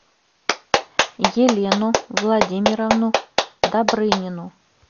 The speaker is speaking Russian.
елену владимировну добрынину